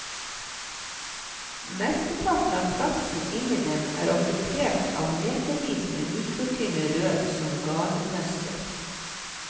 Mesteparten av plassen inni dem er okkupert av metervis med mikrotynne rør, som garnnøster.